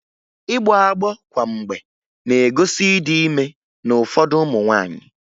Ịgbọ agbọ kwa mgbe na-egosi ịdị ime n'ụfọdụ ụmụ nwaanyị